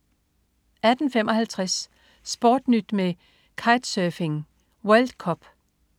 18.55 SportNyt med kitesurfing: World Cup